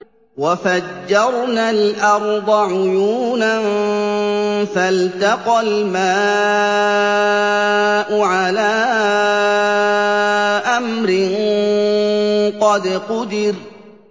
وَفَجَّرْنَا الْأَرْضَ عُيُونًا فَالْتَقَى الْمَاءُ عَلَىٰ أَمْرٍ قَدْ قُدِرَ